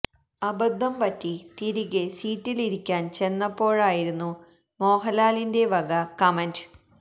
അബദ്ധം പറ്റി തിരികെ സീറ്റിൽ ഇരിക്കാൻ ചെന്നപ്പോഴായിരുന്നു മോഹൻലാലിന്റെ വക കമന്റ്